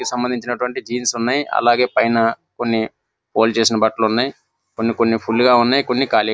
సంబంధించినటువంటి జీన్స్ ఉన్నాయి అలాగే పైన కొన్ని ఫోల్డ్ చేసినట్టు వంటి బట్టలు ఉన్నాయి అలాగే కొన్ని కొన్ని ఫుల్ గ ఉన్నాయి కొన్ని కాలిగా --